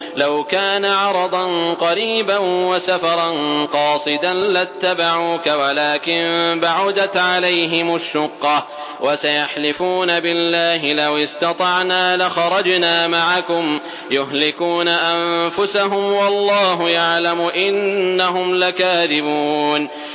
لَوْ كَانَ عَرَضًا قَرِيبًا وَسَفَرًا قَاصِدًا لَّاتَّبَعُوكَ وَلَٰكِن بَعُدَتْ عَلَيْهِمُ الشُّقَّةُ ۚ وَسَيَحْلِفُونَ بِاللَّهِ لَوِ اسْتَطَعْنَا لَخَرَجْنَا مَعَكُمْ يُهْلِكُونَ أَنفُسَهُمْ وَاللَّهُ يَعْلَمُ إِنَّهُمْ لَكَاذِبُونَ